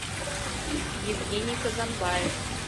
евгений казанбаев